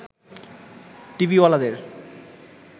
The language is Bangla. টিভিওয়ালাদের